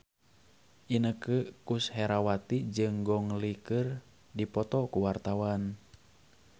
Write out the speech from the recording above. Inneke Koesherawati jeung Gong Li keur dipoto ku wartawan